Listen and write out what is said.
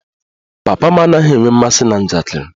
Papa m anaghị enwe mmasị na njakịrị